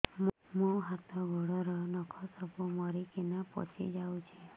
ମୋ ହାତ ଗୋଡର ନଖ ସବୁ ମରିକିନା ପଚି ଯାଉଛି